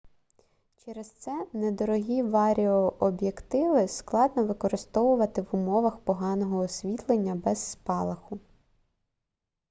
через це недорогі варіооб'єктиви складно використовувати в умовах поганого освітлення без спалаху